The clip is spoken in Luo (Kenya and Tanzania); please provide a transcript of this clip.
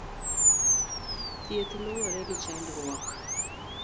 Thieth luwore gi chandruok.